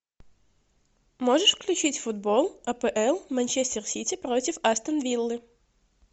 можешь включить футбол апл манчестер сити против астон виллы